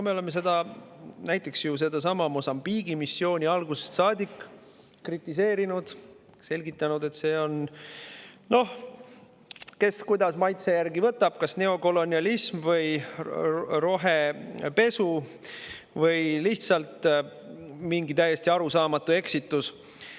Me oleme seda, näiteks ju sedasama Mosambiigi missiooni algusest saadik kritiseerinud, selgitanud, et see on – noh, kes kuidas maitse järgi võtab – kas neokolonialism või rohepesu või lihtsalt mingi täiesti arusaamatu eksitus.